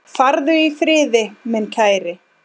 Farðu í friði, minn kæri.